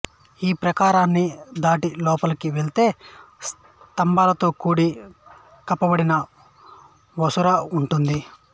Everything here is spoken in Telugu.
ఈ ప్రాకారాన్ని దాటి లోపలికి వెళ్తే స్తంభాలతో కూడి కప్పబడిన వసారా ఉంటుంది